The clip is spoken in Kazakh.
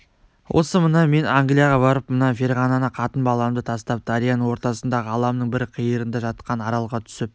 осы мына мен англияға барып мына ферғананы қатын-баламды тастап дарияның ортасында ғаламның бір қиырында жатқан аралға түсіп